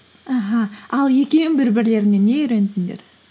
аха ал екеуін бір бірлеріңнен не үйрендіңдер